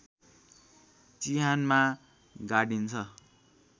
चिहानमा गाडिन्छ